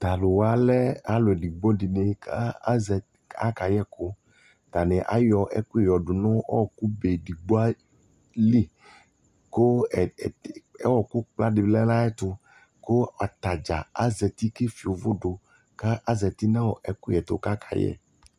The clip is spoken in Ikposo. talʋ wa lɛ alʋ ɛdigbɔ dini kʋ aka yɛkʋ, atani ayɔ ɛkʋyɛ ɔdʋnʋ ɔkʋ bɛ digbɔ li kʋ ɔkʋ kpla di lɛnʋ ayɛtʋ kʋ atagya azati kʋ ɛƒiɔ ʋvʋdʋ kʋ azati nʋ ɛkʋyɛ tʋ kʋ akayɛ